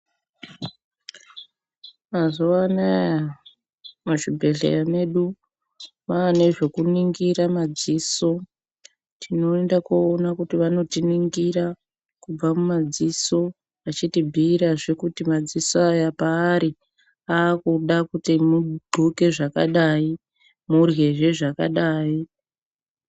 Mazuva anaya muzvibhedhleya medu mwaanezvokuningira madziso. Tinoenda koona kuti vanotiningira kubva mumadziso vachitibhuirazve kuti madziso aya paari aakuda kuti mudxoke zvakadai muryezve zvakadai.